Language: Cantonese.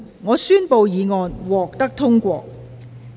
我宣布議案獲得通過。